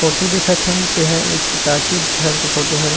Photo देखत हन तेहा एक टॉकीज घर के फोटू हरे।